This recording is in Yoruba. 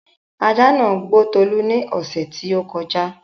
ajá nàá gbó Tolú ní ọ̀ṣẹ̀ tí ó kọjá